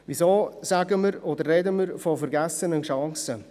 Warum sprechen wir von vergessenen Chancen?